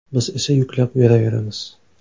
Biz esa yuklab yuraveramiz.